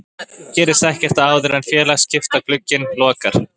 Gerist ekkert áður en félagaskiptaglugginn lokar?